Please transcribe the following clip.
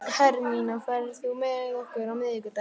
Hermína, ferð þú með okkur á miðvikudaginn?